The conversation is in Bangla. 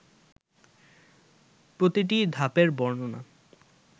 প্রতিটি ধাপের বর্ণনা